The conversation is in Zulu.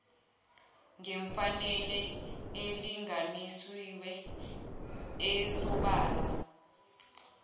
ngefanele elinganisiwe esobala